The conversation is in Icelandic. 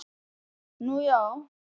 Nú já.